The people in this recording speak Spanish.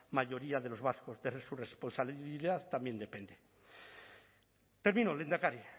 mayoría de los vascos de su responsabilidad también depende termino lehendakari